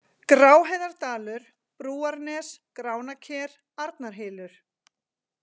Gráheiðardalur, Brúarnes, Gránaker, Arnarhylur